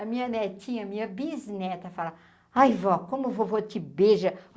A minha netinha, a minha bisneta, fala, Ai, vó, como vôvô te beija.